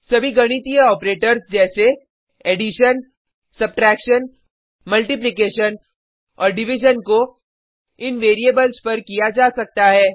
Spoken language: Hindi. सभी गणितीय ऑपरेटर्स जैसे additionजोड़ सबट्रैक्शन घटाव मल्टीप्लिकेशन गुणा और डिविजन भाग को इन वेरिएबल्स पर किया जा सकता है